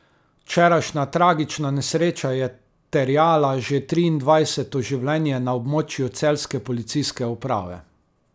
Včerajšnja tragična nesreča je terjala že triindvajseto življenje na območju celjske policijske uprave.